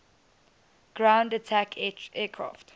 ground attack aircraft